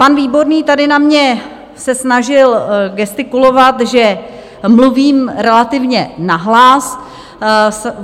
Pan Výborný tady na mě se snažil gestikulovat, že mluvím relativně nahlas.